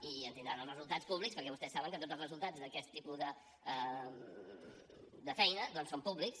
i en tindran els resultats públics perquè vostès saben que tots els resultats d’aquest tipus de feina doncs són públics